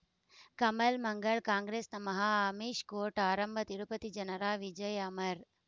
ಕಮಲ್ ಮಂಗಳ್ ಕಾಂಗ್ರೆಸ್ ನಮಃ ಅಮಿಷ್ ಕೋರ್ಟ್ ಆರಂಭ ತಿರುಪತಿ ಜನರ ವಿಜಯ ಅಮರ್